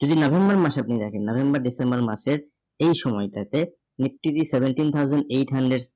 যদি November মাসে আপনি দেখেন, NovemberDecember মাসের এই সময়টাতে nifty seventeen thousand eight hundred